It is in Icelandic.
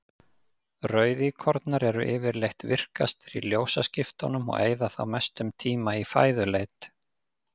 Rauðíkornar eru yfirleitt virkastir í ljósaskiptunum og eyða þá mestum tíma í fæðuleit.